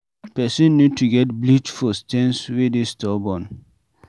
Person need to get bleach for stains wey dey stubborn